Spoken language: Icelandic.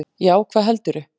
Já, hvað heldurðu!